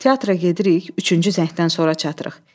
Teatra gedirik, üçüncü zəngdən sonra çatırıq.